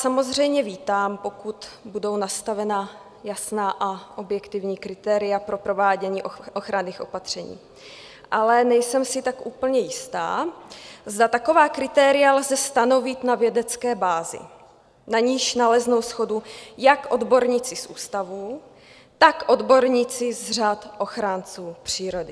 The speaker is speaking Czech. Samozřejmě vítám, pokud budou nastavena jasná a objektivní kritéria pro provádění ochranných opatření, ale nejsem si tak úplně jistá, zda taková kritéria lze stanovit na vědecké bázi, na níž naleznou shodu jak odborníci z ústavů, tak odborníci z řad ochránců přírody.